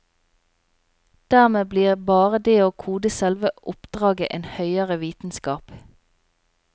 Dermed blir bare det å kode selve oppdraget en høyere vitenskap.